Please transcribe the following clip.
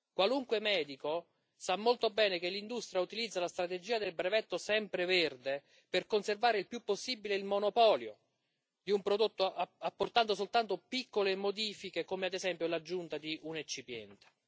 Qualunque medico sa molto bene che l'industria utilizza la strategia del brevetto sempreverde, per conservare il più possibile il monopolio di un prodotto, apportando soltanto piccole modifiche come, ad esempio, l'aggiunta di un eccipiente.